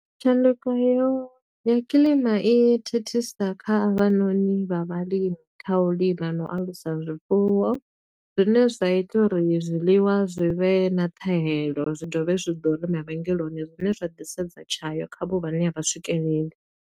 Tshanduko heyo, ya kiḽima i thithisa kha havhanoni vha vhalimi, kha u lima na u alusa zwifuwo. Zwine zwa ita uri zwiḽiwa zwi vhe na ṱhahelo zwi dovhe zwi ḓure mavhengeleni. Zwine zwa disedza tshayo, kha a vho vhane a vha swikeleli.